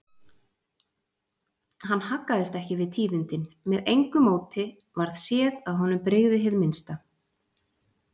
Hann haggaðist ekki við tíðindin, með engu móti varð séð að honum brygði hið minnsta.